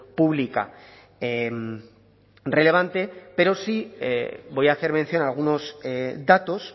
pública relevante pero sí voy a hacer mención a algunos datos